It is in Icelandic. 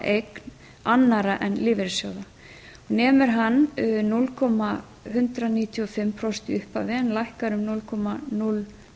bréfaeign annarra en lífeyrissjóða nemur hann núll komma einu níu fimm prósenti í upphafi en lækkar um